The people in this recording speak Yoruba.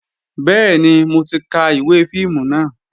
Bẹ́ẹ̀ni, mo ti ka ìwé fíìmù náà